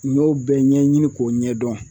N y'o bɛɛ ɲɛɲini k'o ɲɛdɔn